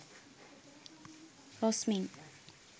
rosmin